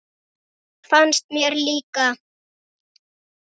Það fannst mér líka.